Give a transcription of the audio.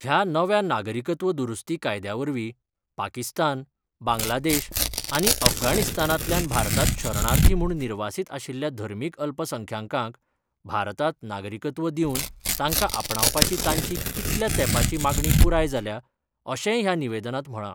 ह्या नव्या नागरिकत्व दुरुस्ती कायद्यावरवी पाकिस्तान, बांगलादेश आनी अफगाणिस्तानातल्यान भारतात शरणार्थी म्हुण निर्वासित आशिल्ल्या धर्मिक अल्पसंख्यांकांक भारतात नागरिकत्व दिवन तांका आपणावपाची तांची कितल्या तेपाची मागणी पुराय जाल्या, अशेय ह्या निवेदनात म्हळा.